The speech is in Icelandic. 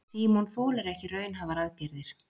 Símon þolir ekki raunhæfar aðgerðir.